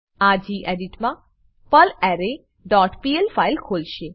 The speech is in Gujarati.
આ ગેડિટ મા પર્લરે ડોટ પીએલ ફાઈલ ખોલશે